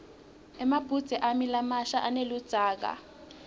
emabhudze ami lamasha aneludzaka